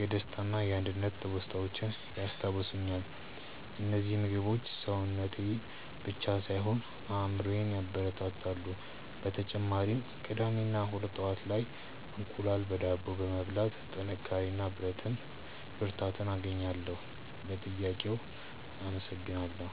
የደስታና የአንድነት ትውስታዎችን ያስታውሱኛል። እነዚህ ምግቦች ሰውነቴን ብቻ ሳይሆን አእምሮዬንም ያበረታታሉ። በተጨማሪም ቅዳሜ እና እሁድ ጠዋት ላይ እንቁላል በዳቦ በመብላት ጥንካሬ እና ብርታት አገኛለሁ። ለጥያቄው አመሰግናለሁ።